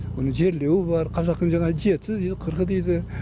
оның жерлеуі бар қазақтың жаңағы жеті дейді қырқы дейді